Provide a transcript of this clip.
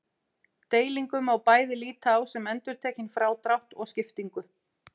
Deilingu má bæði líta á sem endurtekinn frádrátt og skiptingu.